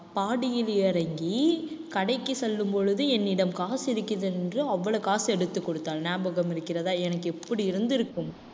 பாடியில் இறங்கி கடைக்கு செல்லும் பொழுது என்னிடம் காசு இருக்கிறது என்று அவ்வளவு காசு எடுத்து கொடுத்தாள் ஞாபகம் இருக்கிறதா எனக்கு எப்படி இருந்திருக்கும்?